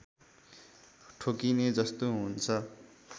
ठोकिने जस्तो हुन्छ